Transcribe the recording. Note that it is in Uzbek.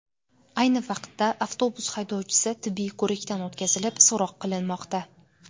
Ayni vaqtda avtobus haydovchisi tibbiy ko‘rikdan o‘tkazilib, so‘roq qilinmoqda.